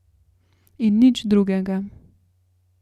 In nič drugega.